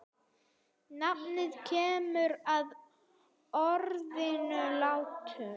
Nafnið kemur af orðinu látur.